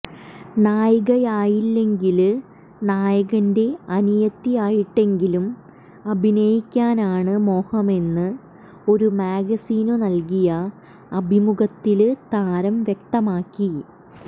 നായികയായില്ലെങ്കില് നായകന്റെ അനിയത്തിയായിട്ടെങ്കിലും അഭിനയിക്കാനാണ് മോഹമെന്ന് ഒരു മാഗസിനു നല്കിയ അഭിമുഖത്തില് താരം വ്യക്തമാക്കി